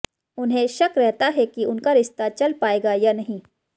उन्हें शक रहता है कि उनका रिश्ता चल पाएगा या नहीं